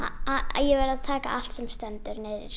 ég verð að taka allt sem stendur